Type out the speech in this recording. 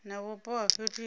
na vhupo ha fhethu he